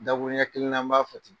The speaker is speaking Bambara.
Dakuruɲɛ kelen na n b'a fɔ ten